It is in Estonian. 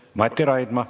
Mati Raidma.